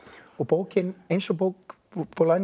og bókin eins og bók bola no